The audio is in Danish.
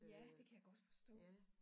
Ja det kan jeg godt forstå